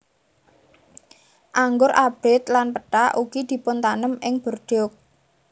Anggur abrit lan pethak ugi dipuntanem ing Bordeaux